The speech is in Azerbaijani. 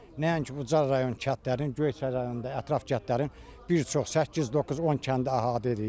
Nəinki Ucar rayon kəndlərinin Göyçay rayonunda ətraf kəndlərin bir çox səkkiz, doqquz, on kəndi əhatə edir.